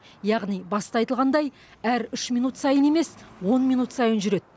яғни баста айтылғандай әр үш минут сайын емес он минут сайын жүреді